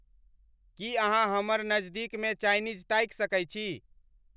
की अहाँहमर नजदीक में चाइनीज ताइक सके छी